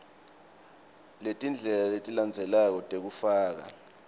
letindlela letilandzelako tekufaka